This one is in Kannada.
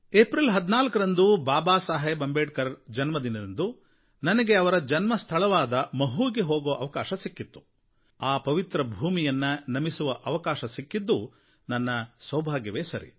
ಏಪ್ರಿಲ್ 14ರಂದು ಬಾಬಾ ಸಾಹೇಬ್ ಅಂಬೇಡ್ಕರ್ ಜನ್ಮದಿನದಂದು ನನಗೆ ಅವರ ಜನ್ಮಸ್ಥಳವಾದ ಮಹೂವಾಗೆ ಹೋಗುವ ಅವಕಾಶ ಸಿಕ್ಕಿದ್ದು ಆ ಪವಿತ್ರ ಭೂಮಿಯನ್ನು ನಮಿಸುವ ಅವಕಾಶ ಸಿಕ್ಕಿದ್ದು ನನ್ನ ಸೌಭಾಗ್ಯವೇ ಸರಿ